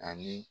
Ani